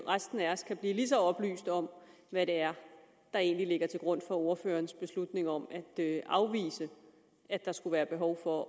resten af os kan blive lige så oplyste om hvad det er der egentlig ligger til grund for ordførerens beslutning om at afvise at der skulle være behov for